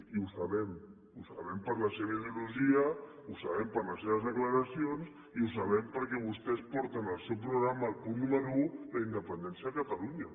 i ho sabem ho sabem per la seva ideologia ho sabem per les seves declaracions i ho sabem perquè vostès porten al seu programa al punt número un la independència de catalunya